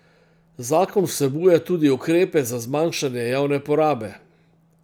Zakon vsebuje tudi ukrepe za zmanjšanje javne porabe.